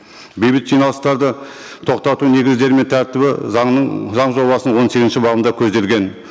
бейбіт жиналыстарды тоқтату негіздері мен тәртібі заңның заң жобасының он сегізінші бабында көзделген